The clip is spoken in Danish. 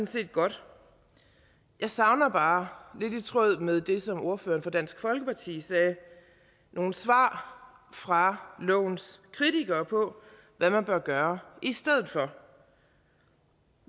set godt jeg savner bare lidt i tråd med det som ordføreren fra dansk folkeparti sagde nogle svar fra lovens kritikere på hvad man bør gøre i stedet for